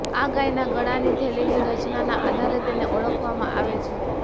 આ ગાયના ગળાની થેલીની રચનાના આધારે તેને ઓળખવામાં આવે છે